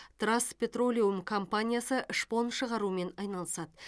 траст петролеум компаниясы шпон шығарумен айналысады